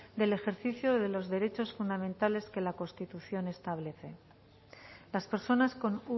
del ejercicio de los derechos fundamentales que la constitución establece las personas con